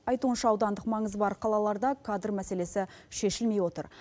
айтуынша аудандық маңызы бар қалаларда кадр мәселесі шешілмей отыр